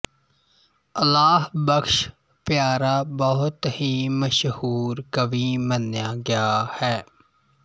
ਅਲਾਹ ਬਖ਼ਸ਼ ਪਿਆਰਾ ਬਹੁਤ ਹੀ ਮਸ਼ਹੂਰ ਕਵੀ ਮੰਨਿਆ ਗਿਆ ਹੈ